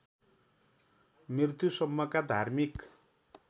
मृत्युसम्मका धार्मिक